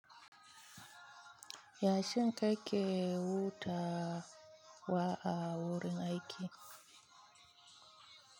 Yashin ka ke wuta wa, wa, a wurin aiki.